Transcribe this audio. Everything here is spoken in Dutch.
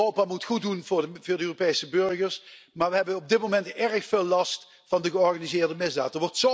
Europa moet goed doen voor de Europese burgers, maar we hebben op dit moment erg veel last van de georganiseerde misdaad.